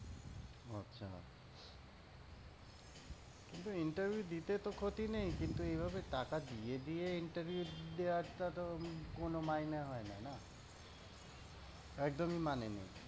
কিন্তু interview দিতে তো ক্ষতি নেই, কিন্তু এভাবে টাকা দিয়ে দিয়ে interview দেওয়াটা তো কোনও মাইনে হয়না না। একদমই মানে নেই।